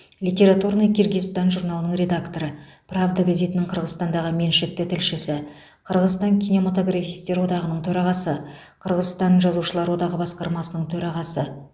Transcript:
литературный киргизстан журналының редакторы правда газетінің қырғызстандағы меншікті тілшісі қырғызстан кинематографистер одағының төрағасы қырғызстан жазушылар одағы басқармасының төрағасы